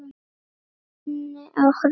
Hún minni á hrúta.